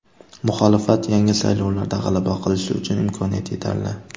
Muxolifat yangi saylovlarda g‘alaba qilishi uchun imkoniyat yetarli.